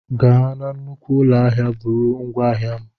Gaa nnukwu ụlọ ahịa, buru ngwá ahịa m!